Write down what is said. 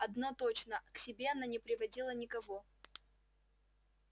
одно точно к себе она не приводила никого